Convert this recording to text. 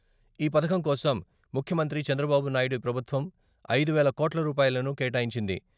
ఈ పథకం కోసం ముఖ్యమంత్రి చంద్రబాబు నాయుడి ప్రభుత్వం ఐదు వేల కోట్ల రూపాయలను కేటాయించింది.